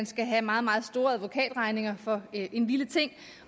skal have meget meget store advokatregninger for en lille ting